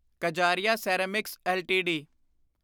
Kajaria ceramics LTD